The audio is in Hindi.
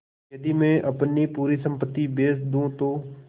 यदि मैं अपनी पूरी सम्पति बेच दूँ तो